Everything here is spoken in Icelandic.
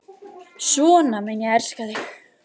Svona mun ég elska þig.